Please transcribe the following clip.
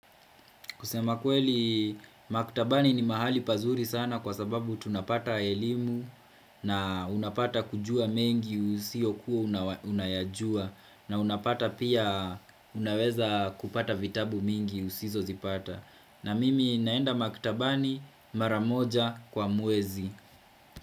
Kusema kweli maktabani ni mahali pazuri sana kwa sababu tunapata elimu na unapata kujua mengi usio kuwa unayajua na unapata pia unaweza kupata vitabu mengi usizo zipata. Na mimi naenda makitabani mara moja kwa muwezi.